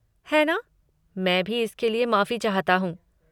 है ना! मैं भी इसके लिए माफ़ी चाहता हूँ।